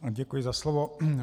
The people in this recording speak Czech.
Děkuji za slovo.